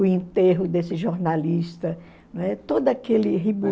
O enterro desse jornalista, né, todo aquele